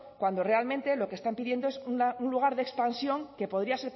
cuando realmente lo que están pidiendo es un lugar de expansión que podría